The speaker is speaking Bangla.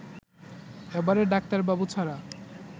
এবারে ডাক্তারবাবু ছাড়া